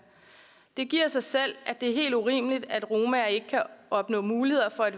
det giver sig selv at det er helt urimeligt at romaer ikke kan opnå muligheder for at